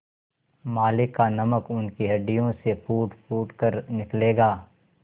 मालिक का नमक उनकी हड्डियों से फूटफूट कर निकलेगा